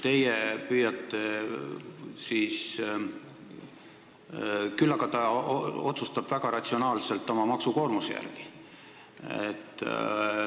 Küll aga otsustab ta väga ratsionaalselt oma maksukoormuse järgi.